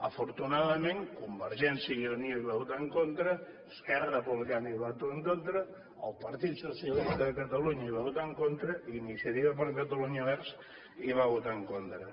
afortunadament convergència i unió hi va votar en contra esquerra republicana hi va votar en contra el partit socialista de catalunya hi va votar en contra iniciativa per catalunya verds hi va votar en contra